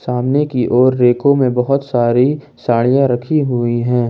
सामने की ओर रैकों में बहुत सारी साड़ियां रखी हुई हैं।